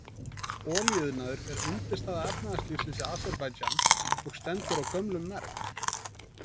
Olíuiðnaður er undirstaða efnahagslífsins í Aserbaídsjan og stendur á gömlum merg.